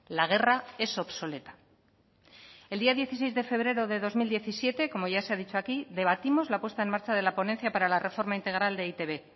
la guerra es obsoleta el día dieciséis de febrero de dos mil diecisiete como ya se ha dicho aquí debatimos la puesta en marcha de la ponencia para la reforma integral de e i te be